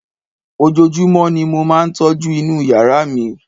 ojojúmọ́ ni mo máà ń tọ́jú inú yàrá mi